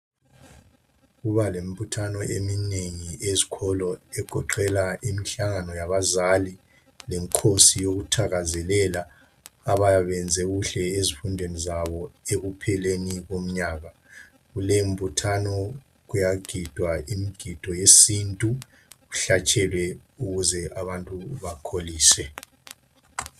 Kuba lemibuthano eminengi ezikolo, egoqela imihlangano yabazali, lemikhosi yokuthakazelela abayabe benze kuhle ezifundweni zabo ekupheleni komnyaka. Kule mbuthano kuyagidwa imigido yesintu kuhlatshelwe ukuze abantu bakholise.